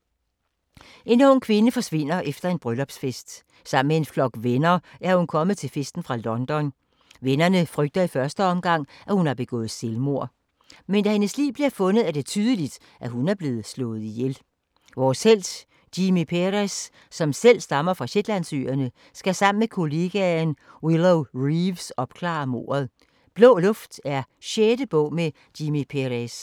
En ung kvinde forsvinder efter en bryllupsfest. Sammen med en flok venner er hun kommet til festen fra London. Vennerne frygter i første omgang, at hun har begået selvmord. Men da hendes lig bliver fundet, er det tydeligt, at hun er blevet slået ihjel. Vores helt Jimmi Perez, som selv stammer fra Shetlandsøerne, skal sammen med kollegaen Willow Reeves opklare mordet. Blå luft er 6. bog med Jimmi Perez.